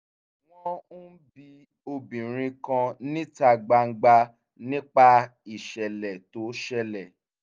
wọ́n ń bi obìnrin kan níta gbangba nípa ìṣẹ̀lẹ̀ tó ṣẹlẹ̀